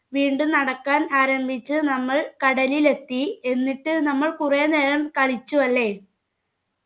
വീണ്ടും നടക്കാൻ ആരംഭിച്ച് നമ്മൾ കടലിലെത്തി എന്നിട്ട് നമ്മൾ കുറെ നേരം കളിച്ചു അല്ലെ